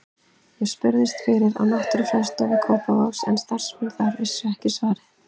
Ég spurðist fyrir á Náttúrufræðistofu Kópavogs en starfsmenn þar vissu ekki svarið.